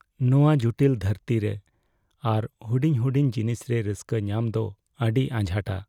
ᱱᱚᱶᱟ ᱡᱚᱴᱤᱞ ᱫᱷᱟᱹᱨᱛᱤ ᱨᱮ ᱟᱨ ᱦᱩᱰᱤᱧ ᱦᱩᱰᱤᱧ ᱡᱤᱱᱤᱥ ᱨᱮ ᱨᱟᱹᱥᱠᱟᱹ ᱧᱟᱢ ᱫᱚ ᱟᱹᱰᱤ ᱟᱡᱷᱟᱴᱟ ᱾